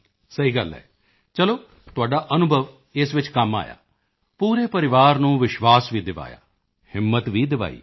ਸਹੀ ਗੱਲ ਐ ਚਲੋ ਤੁਹਾਡਾ ਅਨੁਭਵ ਇਸ ਵਿੱਚ ਕੰਮ ਆਇਆ ਪੂਰੇ ਪਰਿਵਾਰ ਨੂੰ ਵਿਸ਼ਵਾਸ ਵੀ ਦਿਵਾਇਆ ਹਿੰਮਤ ਵੀ ਦਿਵਾਈ